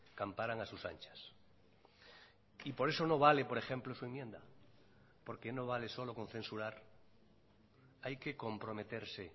camparan a sus anchas y por eso no vale por ejemplo su enmienda porque no vale solo con censurar hay que comprometerse